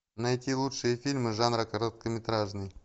найти лучшие фильмы жанра короткометражный